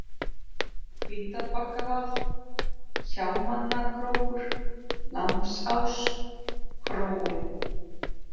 Hvítárbakkavað, Hjámannakrókur, Lambsás, Króin